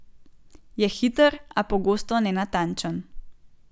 Je hiter, a pogosto nenatančen.